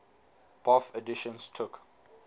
bofh editions took